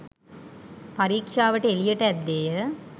පරීක්ෂාවට එළියට ඇද්දේය.